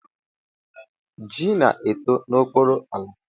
Ji na-eto n'okpuru ala.